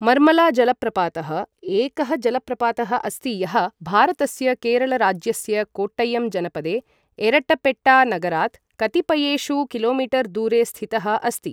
मर्मला जलप्रपातः एकः जलप्रपातः अस्ति यः भारतस्य केरल राज्यस्य कोट्टयम् जनपदे एरट्टपेट्टा नगरात् कतिपयेषु किलोमीटर् दूरे स्थितः अस्ति।